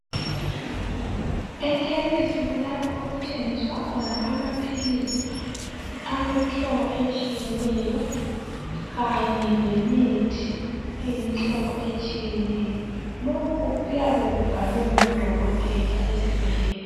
Ekhemisi kulapho okuthengiswa khona amaphilisi awemihlobo etshiyeneyo Kanye lemithi eyimihlobo etshiyeneyo lokho kuyabe kubhalwe ngudokotela esibhedlela.